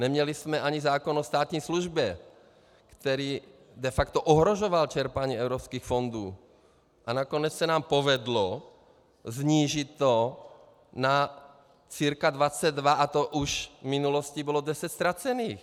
Neměli jsme ani zákon o státní službě, který de facto ohrožoval čerpání evropských fondů, a nakonec se nám povedlo snížit to na cca 22, a to už v minulosti bylo 10 ztracených.